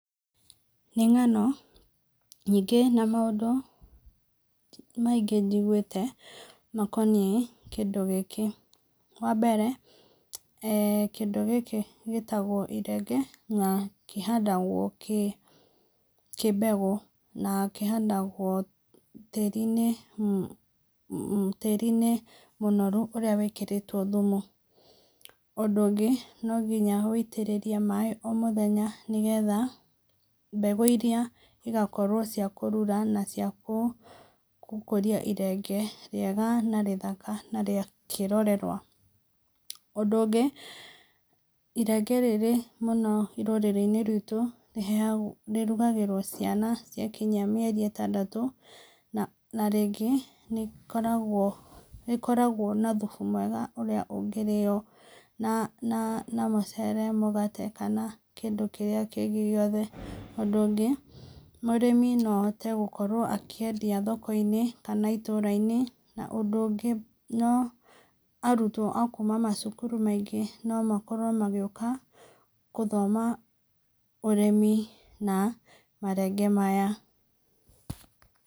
Nĩ ng'ano nyingĩ na maũndũ maingĩ njiguĩte makoniĩ kĩndũ gĩkĩ. Wambere, eeh kĩndũ gĩkĩ gĩtagwo irenge na kĩhandagwo kĩ mbegũ, na kĩhandagwo tĩĩri-inĩ, tĩĩri-inĩ mũnoru ũrĩa wĩkĩrĩtwo thumu. Ũndũ ũngĩ, nonginya wĩitĩrĩrie maĩ o mũthenya, nĩgetha mbegũ iria igakorwo ciakũrura naciagũkũria irenge rĩega na rĩthaka na rĩa kĩrorerwa. Ũndũ ũngĩ, irenge rĩrĩ rũrĩrĩ-inĩ ruitũ rĩheagwo, rĩrugagĩrwo ciana ciakinya mĩeri ĩtandatũ na na rĩngĩ nĩrĩkoragwo na thubu mwega ũrĩa ũngĩrĩo na na mũcere, mũgate kana kĩndũ kĩrĩa kĩngĩ gĩothe. Ũndũ ũngĩ, mũrĩmi noahote gũkorwo akĩendia thoko-inĩ kana itũũra-inĩ, na ũndũ ũngĩ no arutwo akuuma macukuru maingĩ nomakorwo magĩũka kũthoma ũrĩmi na marenge maya.